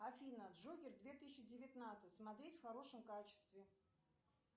афина джокер две тысячи девятнадцать смотреть в хорошем качестве